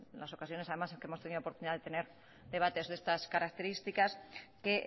en ocasiones además que hemos tenido oportunidad de tener debates de estas características que